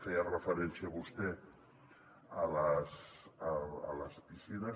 feia referència vostè a les piscines